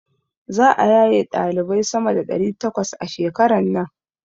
Za'a yaye ɗalibai sama da ɗari takwas a shekaran nan.